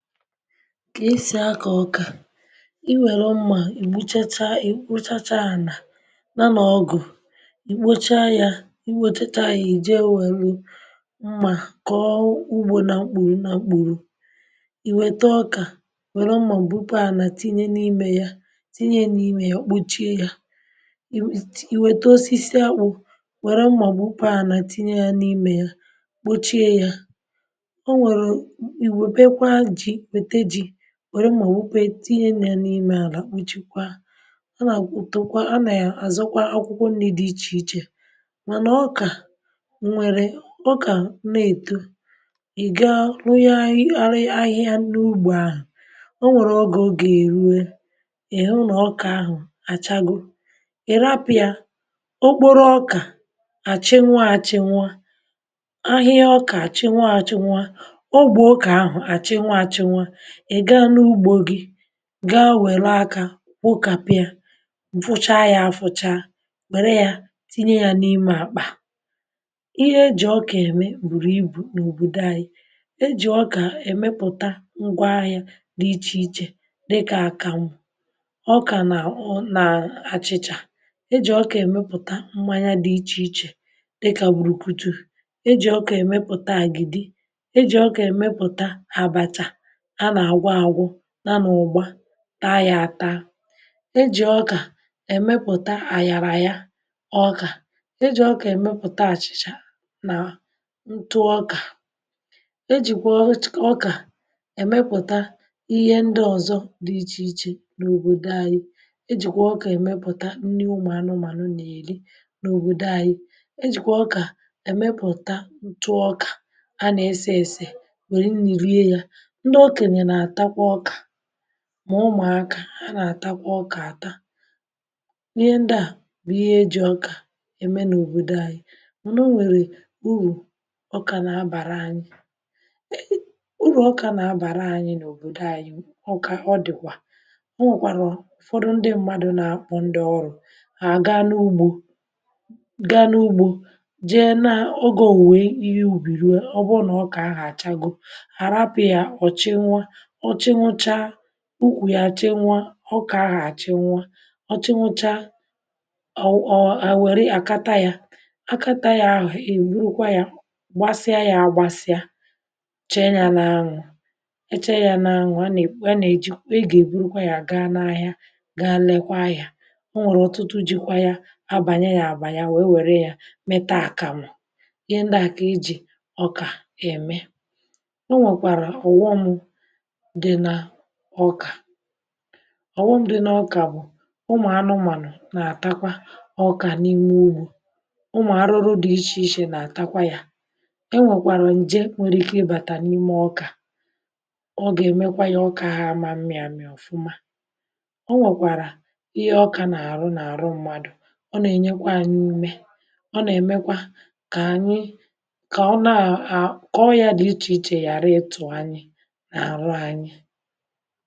Kà esì akȧ ọkà i nwèrè mmà um ị̀ mụchacha ị̀ mụchacha ànà na nọ̀ ọgụ̀ ì kpochaa yȧ i nwetachȧ yȧ i jee nwèrè mmà kọ̀ọ ugbȯ na mkpùrù na mkpùrù i wète ọkà wère mmà gbupu ànà tinye n’imė yȧ um tinye n’imė yȧ kpuchie yȧ ì wète osisi awụ̀ wère mmà gbupu ànà tinye yȧ n’imė yȧ kpuchie yȧ wère ma òwukpe tinye n’ime àlà njikwa um a nà àkwụkwọ a nà àzọkwa akwụkwọ nri̇ di ichè ichè mà nà ọkà nwèrè ọkà na-èto ì gaa rụnye ahịa ahịa n’ugbȯ ahụ̀ o nwèrè ọgȧ ọ gà-èrue ị hụ nà ọkà ahụ̀ achago ị̀ rapị̀à okporo ọkà àchịnwa àchịnwa ahịa ọkà àchịnwa àchịnwa ogbe ọkà ahụ̀ gaa wèro akȧ wụkàpia wụcha ya afọcha wère ya tinye ya n’ime àkpà ihe e jì ọkà ème bùrù ibù n’òbòdò anyị e jì ọkà èmepụ̀ta ngwa ahịȧ dị ichè ichè um dịkà àkànwụ ọkà nà ọ nà-àchịchà e jì ọkà èmepụ̀ta mmanya dị̇ ichè ichè dịkà bùrùkutu e jì ọkà èmepụ̀ta àgịdị ta yȧ ata e jì ọkà èmepụ̀ta àyàrà ya ọkà e jì ọkà èmepụ̀ta àchị̀chà nà ntụ ọkà um e jìkwà ọ ọkà èmepụ̀ta ihe ndị ọ̀zọ dị ichè ichè n’òbòdo anyị e jìkwà ọkà èmepụ̀ta ndị ụ̀manụ ànụ ànụ nà èri n’òbòdo anyị e jìkwà ọkà èmepụ̀ta ntụ ọkà a nà esė esè nwèrè i ni rie ya mà ụmụ̀akȧ a nà àtakwa ọkà àta ihe ndị à bụ̀ ihe eji̇ ọkà ème n’òbòdo anyị m̀nà o nwèrè urù ọkà nà abàra anyị um urù ọkà nà abàra anyị n’òbòdo anyị ọkà ọ dị̀kwà o nwèkwàrụ̀ ụ̀fọdụ ndị mmadụ̇ nà m̀kpọ ndị ọrụ̇ a gaa n’ugbȯ gaa n’ugbȯ jee n’ogȯ wèe ihe ubì ruo ọ bụ nà ọkà ahụ̀ àchago ọ̀ chịnwụcha ukwù yà à chịnwụ̇ ọ ọkà ahụ̀ à chịnwụ̇ ọ̀ chịnwụ̇cha ọ̀ ọ̀ wère àkata yȧ àkata yȧ ahụ̀ ègbukwa yȧ gbasịa yȧ agbasịa chẹ̀ yȧ n’anwụ̇ chẹ̀ yȧ n’anwụ̇ um a nà è nà è ji ọ ọ̀ ọ gà è gbụrụkwa yȧ ga n’ahịa ga lekwa yȧ o nwèrè ọ̀tụtụ jị̇kwa yȧ abànye yȧ àbànye wèe wère yȧ mẹtà a kàmụ̀ ihe ndị à kà ijì ọkà è mee o nwèkwàrà ụ̀wọ̀mụ̀ ọkà ọghọm dị n’ọkà bụ̀ um ụmụ̀anụmànụ̀ na-atakwa ọkà n’ime ugbȯ ụmụ̀ arụrụ dị̀ iche iche na-atakwa yȧ e nwèkwàrà ǹje nwere ike ịbàtà n’ime ọkà ọ gà-emekwa ya ọkà amȧ mmịa mị̇ ọ̀fụma o nwèkwàrà ihe ọkà nà-àrụ n’àrụ mmadụ̀ ọ nà-enyekwa anyị ime ọ nà-èmekwa kà anyị kà ọ na a kọọ ya dị̀ ichè ichè yàra um ịtụ̀ anyị enyi.